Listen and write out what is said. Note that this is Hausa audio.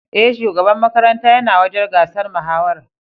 E, shugaban makaranta yana wajen gasar mahawarar.